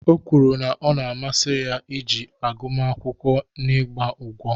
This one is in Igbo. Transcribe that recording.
O kwuru na ọ masịrị ya iji agụmakwụkwọ n'ịgba ụgwọ